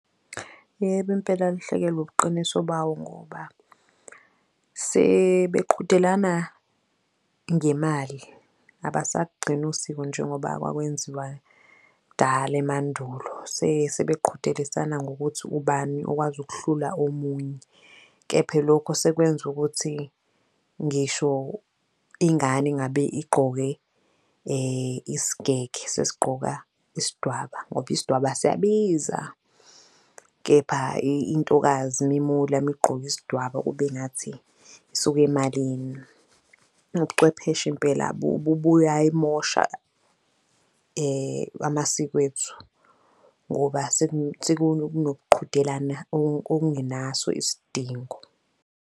Yebo, impela alahlekelwe ubuqiniso bawo ngoba sebeqhudelana ngemali, abasagcini usiko njengoba kwakwenziwa kudala emandulo, sebeqhudelisana ngokuthi ubani okwazi ukuhlula omunye. Kepha lokhu sekwenza ukuthi ngisho ingane engabe igqoke isigege sesigqoka isidwaba ngoba isidwaba siyabiza. Kepha intokazi uma imula migqoke isidwaba kube ngathi isuka emalini. Ubuchwepheshe Impela buyayimosha amasiko ethu, ngoba sekunokuqhudelana okungenaso isidingo.